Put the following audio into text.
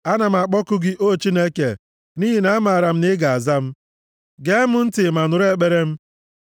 Ana m akpọku gị, O Chineke, nʼihi na amaara m na ị ga-aza m; gee m ntị ma nụrụ ekpere m.